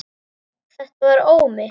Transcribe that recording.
Þetta var Ómi.